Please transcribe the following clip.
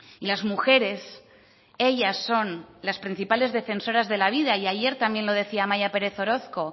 y las mujeres ellas son las principales defensoras de la vida y ayer también lo decía amaia pérez orozco